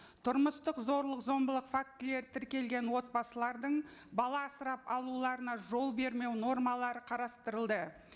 тұрмыстық зорлық зомбылық фактілері тіркелген отбасылардың бала асырап алуларына жол бермеу нормалары қарастырылды